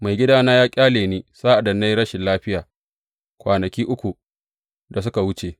Maigidana ya ƙyale ni sa’ad da na yi rashin lafiya kwanaki ukun da suka wuce.